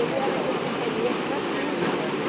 Ele era aquele companheiro para tudo.